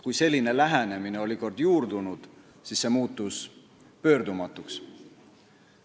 Kui selline lähenemine oli kord juurdunud, siis see muutus pöördumatuks.